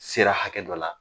Sera hakɛ dɔ la